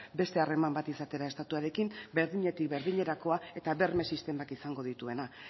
beste harreman bat izatera estatuarekin berdinetik berdinerakoa eta berme sistemak izango dituena